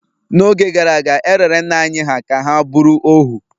n’oge gara aga, e rere nna anyị hà ka ha bụrụ ohu